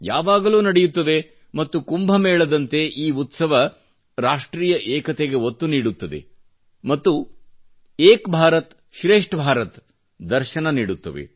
ಯಾವಾಗಲೂ ನಡೆಯುತ್ತವೆ ಮತ್ತು ಕುಂಭಮೇಳದಂತೆ ಈ ಉತ್ಸವ ರಾಷ್ಟ್ರೀಯ ಏಕತೆಗೆ ಒತ್ತು ನೀಡುತ್ತವೆ ಮತ್ತು ಏಕ್ ಭಾರತ್ ಶ್ರೇಷ್ಠ ಭಾರತ್ ದ ದರ್ಶನ ನೀಡುತ್ತವೆ